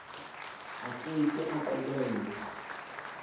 a ke ke a qobellwa